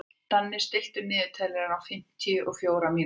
Danni, stilltu niðurteljara á fimmtíu og fjórar mínútur.